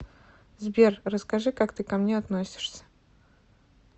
сбер расскажи как ты ко мне относишься